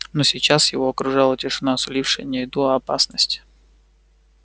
но сейчас его окружала тишина сулившая не еду а опасность